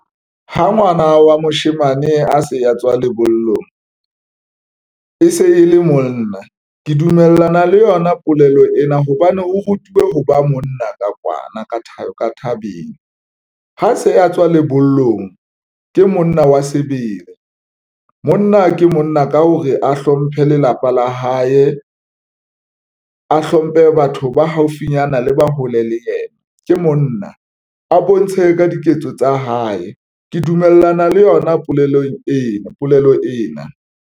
Ha ngwana wa moshemane a se a tswa lebollong e se e le monna, ke dumellana le yona polelo ena hobane o rutuwe ho ba monna ka kwana ka thabeng ha se a tswa lebollong ke monna wa sebele, monna ke monna ka hore a hlomphe lelapa la hae, a hlomphe le batho ba haufinyana le ba hole le yena, ke monna a bontshe ka diketso tsa hae, ke dumellana le yona polelo ena.